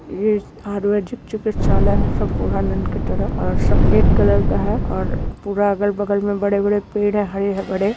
ये आयुर्वेदिक चिकित्सालय है सम्पूर्णानन्द की तरफ और सफ़ेद कलर का है और पूरा अगल बगल में बड़े-बड़े पेड हैं हरे बड़े।